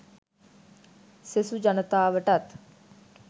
සෙසු ජනතාවටත්